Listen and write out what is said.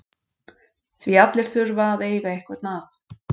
Því allir þurfa að eiga einhvern að.